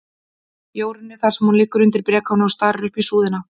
Jórunni, þar sem hún liggur undir brekáni og starir upp í súðina.